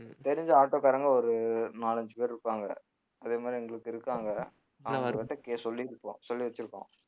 தெரிஞ்ச auto காரங்க ஒரு நாலஞ்சு பேர் இருப்பாங்க அதேமாதிரி எங்களுக்கு இருக்காங்க ஆனா அவரு கே~ சொல்லிருக்கோம் சொல்லி வச்சிருக்கோம்